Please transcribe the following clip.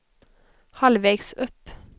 halvvägs upp